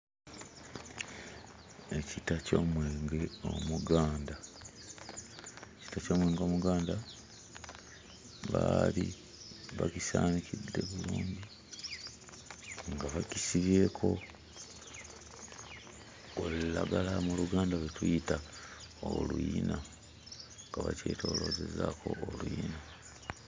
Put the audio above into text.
Ekita ky'omwenge omuganda, ekita ky'omwenge omuganda. Baali bagusaanikidde bulungi nga bakisibyeko olulagala mu Luganda lwe tuyita oluyina. Nga bakyetooloozezzaako oluyina.